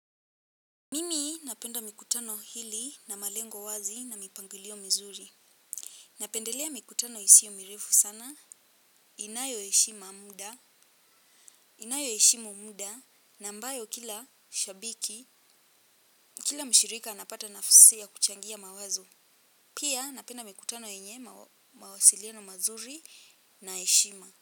Mimi napenda mikutano hili na malengo wazi na mipangilio mzuri. Napendelea mikutano isiyo mirefu sana. Inayo eshima muda. Inayo eshimu muda. Na mbayo kila shabiki. Kila mshirika anapata nafusi ya kuchangia mawazo. Pia napenda mikutano yenye mawasiliano mazuri na eshima.